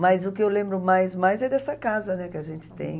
Mas o que eu lembro mais mais é dessa casa, né, que a gente tem.